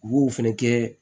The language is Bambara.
U b'o fɛnɛ kɛ